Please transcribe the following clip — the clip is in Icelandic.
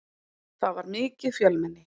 Það var mikið fjölmenni.